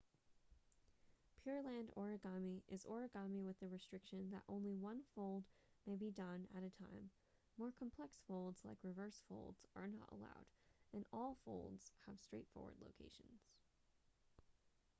pureland origami is origami with the restriction that only one fold may be done at a time more complex folds like reverse folds are not allowed and all folds have straightforward locations